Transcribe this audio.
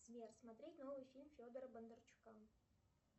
сбер смотреть новый фильм федора бондарчука